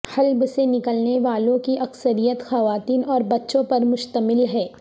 حلب سے نکلنے والوں کی اکثریت خواتین اور بچوں پر مشتمل ہے